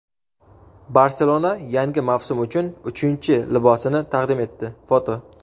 "Barselona" yangi mavsum uchun uchinchi libosini taqdim etdi (foto).